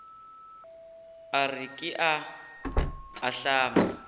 a re ke a ahlama